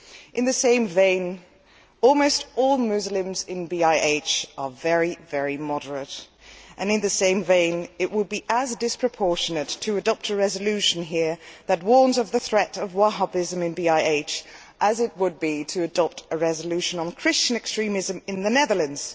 In the same vein, almost all Muslims in BiH are very, very moderate, and in the same vein it would be as disproportionate to adopt a resolution here that warns of the threat of Wahhabism in BiH as it would be to adopt a resolution on Christian extremism in the Netherlands.